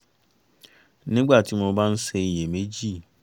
nígbà tí mo bá ń ṣe iyèméjì